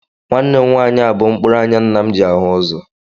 Nwanne m nwaanyị a bụ mkpụrụ anya nna m ji ahụ ụzọ